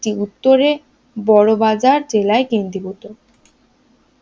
এটি উত্তরে বড়বাজার জেলায় কেন্দ্রীভূত